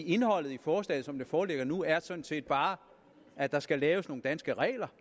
indholdet af forslaget som det foreligger nu er sådan set bare at der skal laves nogle danske regler